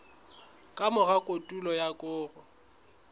ka mora kotulo ya koro